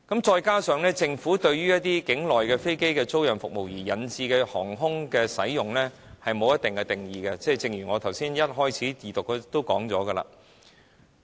再加上政府對於境內飛機租賃服務對航空業引致的影響沒有定義，正如我在二讀辯論時提到的那樣。